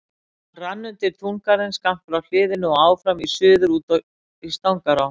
Hann rann undir túngarðinn skammt frá hliðinu og áfram í suður út í Stangará.